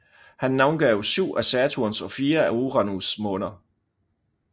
Han navngav syv af Saturns og fire af Uranus måner